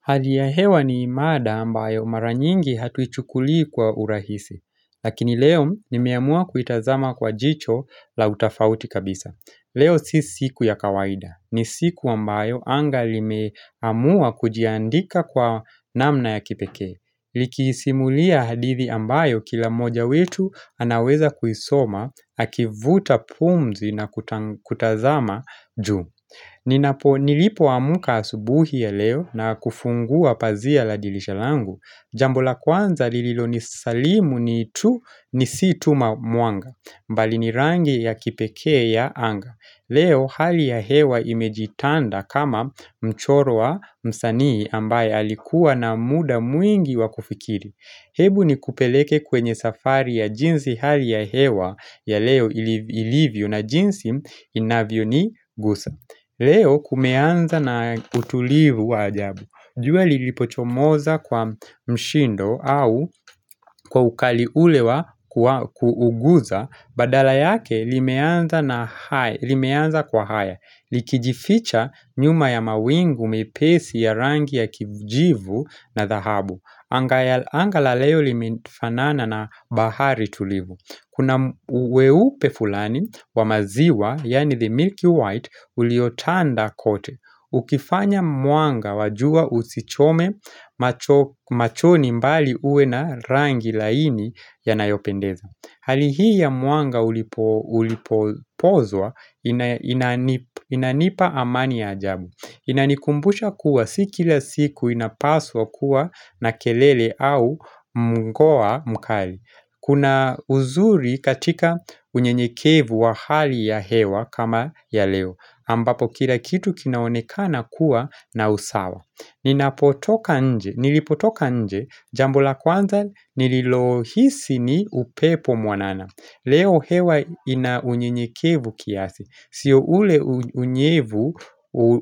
Hali ya hewa ni mada ambayo mara nyingi hatuichukulii kwa urahisi. Lakini leo ni meamua kuitazama kwa jicho la utafauti kabisa. Leo si siku ya kawaida. Ni siku ambayo anga limeamua kujiandika kwa namna ya kipekee. Likisimulia hadithi ambayo kila moja wetu anaweza kuisoma, akivuta pumzi na kutazama juu. Ninapo nilipo amka asubuhi ya leo na kufungua pazia la dilisha langu Jambo la kwanza lililo ni salimu ni tu nisi tuma muanga mbali ni rangi ya kipekee ya anga Leo hali ya hewa imejitanda kama mchoro wa msanii ambaye alikuwa na muda mwingi wa kufikiri Hebu ni kupeleke kwenye safari ya jinsi hali ya hewa ya leo ilivyo na jinsi inavyo ni gusa Leo kumeanza na utulivu wa ajabu. Jua lilipochomoza kwa mshindo au kwa ukali ule wa kuuguza, badala yake limeanza kwa haya. Likijificha nyuma ya mawingu mepesi ya rangi ya kijivu na thahabu. Anga la leo limefanana na bahari tulivu. Kuna uweupe fulani wa maziwa, yani the milky white, uliotanda kote. Ukifanya muanga wajua usichome machoni mbali uwe na rangi laini ya nayopendeza. Hali hii ya muanga ulipozwa inani inanipa amani ya ajabu Inanikumbusha kuwa si kila siku inapaswa kuwa na kelele au mgoa mkali Kuna uzuri katika unyenyekevu wa hali ya hewa kama ya leo ambapo kila kitu kinaonekana kuwa na usawa Ninapotoka nje, nilipotoka nje, jambo la kwanza nililohisi ni upepo mwanana Leo hewa ina unyenyekevu kiasi Sio ule unyevu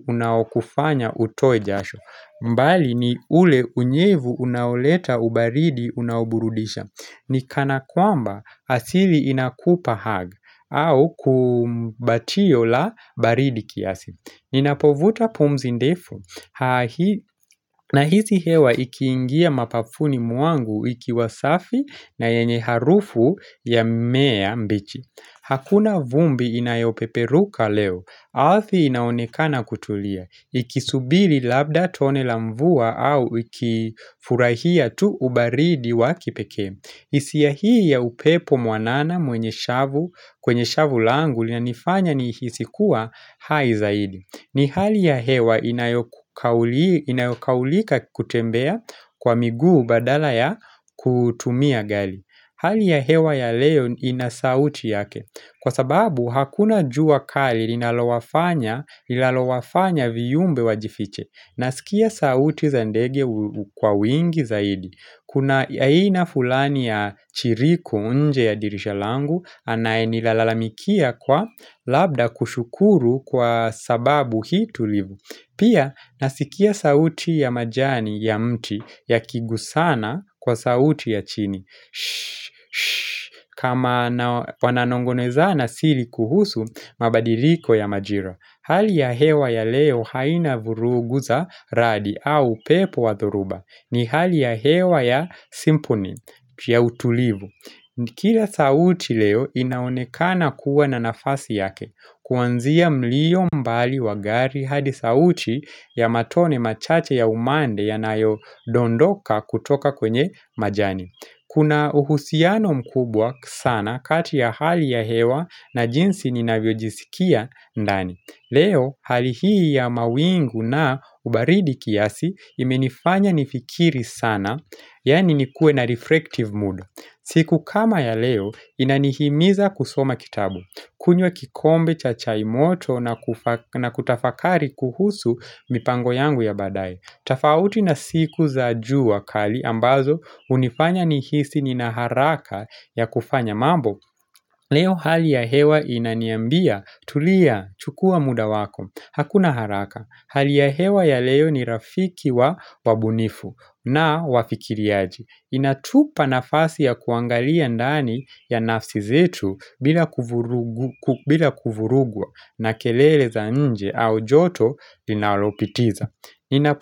unaokufanya utoe jasho mbali ni ule unyevu unaoleta ubaridi unaoburudisha ni kana kwamba asili inakupa hug au kumbatio la baridi kiasi Ninapovuta pumzi ndefu na hisi hewa ikiingia mapafuni mwangu ikiwasafi na yenye harufu ya mmea mbichi Hakuna vumbi inayopeperuka leo Ardhi inaonekana kutulia Ikisubili labda tone la mvua au ikifurahia tu ubaridi wakipekee hisia hii ya upepo mwanana mwenye shavu kwenye shavu langu lina nifanya ni hisi kuwa hai zaidi ni hali ya hewa inayokaulie inayokaulika kutembea kwa miguu badala ya kutumia gari Hali ya hewa ya leo inasauti yake Kwa sababu hakuna jua kali linalolawafanya viumbe wa jifiche nasikia sauti za ndege kwa wingi zaidi Kuna aina fulani ya chiriku nje ya dirisha langu anaye nilalalamikia kwa labda kushukuru kwa sababu hii tulivu Pia nasikia sauti ya majani ya mti ya kigusana kwa sauti ya chini kama wananongonezana sili kuhusu mabadiliko ya majira Hali ya hewa ya leo haina vurugu za radi au pepo wa thoruba ni hali ya hewa ya simponi ya utulivu Kila sauti leo inaonekana kuwa na nafasi yake, kuwanzia mlio mbali wagari hadi sauti ya matone machache ya umande yanayo dondoka kutoka kwenye majani. Kuna uhusiano mkubwa sana kati ya hali ya hewa na jinsi ninavyojisikia ndani. Leo, hali hii ya mawingu na ubaridi kiasi imenifanya nifikiri sana, yani nikue na reflective mood. Siku kama ya leo inanihimiza kusoma kitabu. Kunywa kikombe cha chai moto na kutafakari kuhusu mipango yangu ya baadaye. Tafauti na siku za jua kali ambazo hunifanya nihisi nina haraka ya kufanya mambo. Leo hali ya hewa inaniambia tulia chukua muda wako. Hakuna haraka. Hali ya hewa ya leo ni rafiki wa wabunifu na wafikiriaji Inatupa nafasi ya kuangalia ndani ya nafsi zetu bila kuvurugu bila kuvurugwa na kelele za nje au joto linalopitiza.